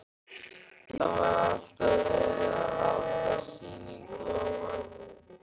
Það var alltaf verið að halda sýningu á manni.